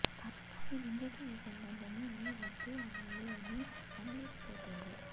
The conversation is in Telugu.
కానీ వింధ్య కి ఈ సంబంధము నీ వద్దు అనాలి అని అనలేకపోతుంది